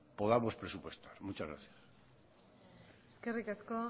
podamos presupuestar muchas gracias eskerrik asko